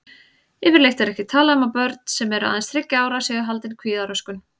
Yfirleitt er ekki talað um að börn sem eru aðeins þriggja ára séu haldin kvíðaröskun.